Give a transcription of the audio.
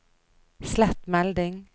slett melding